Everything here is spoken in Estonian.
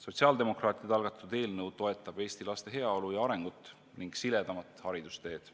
Sotsiaaldemokraatide algatatud eelnõu toetab Eesti laste heaolu ja arengut ning siledamat haridusteed.